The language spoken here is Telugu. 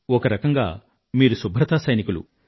ఒకరకంగా మీరు శుభ్రతా సైనికులు